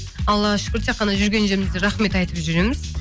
аллаға шүкір тек қана жүрген жерімізде рахмет айтып жүреміз